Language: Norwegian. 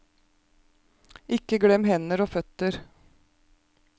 Ikke glem hender og føtter.